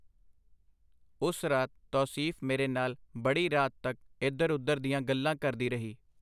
ਉਸ ਰਾਤ ਤੌਸੀਫ਼ ਮੇਰੇ ਨਾਲ ਬੜੀ ਰਾਤ ਤਕ ਇਧਰ-ਉਧਰ ਦੀਆਂ ਗੱਲਾਂ ਕਰਦੀ ਰਹੀ.